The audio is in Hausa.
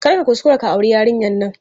Kar ka kuskura ka auri yarinyar nan!